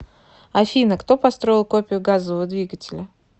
афина кто построил копию газового двигателя